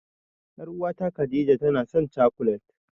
Ƴar'uwata Khadija tanasan cakulet.